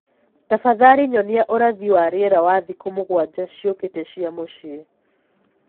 tafadhalĩ nyonĩa ũrathi wa rĩera wa thĩkũ mũgwanja ciukite cĩa mũcĩĩ